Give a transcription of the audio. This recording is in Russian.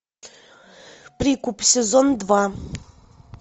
прикуп сезон два